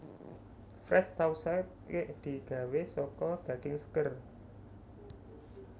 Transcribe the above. Fresh Sausage digawé saka daging seger